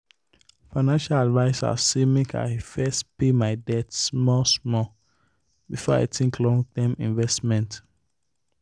financial adviser say make i first pay my debt small-small before i think long term investment.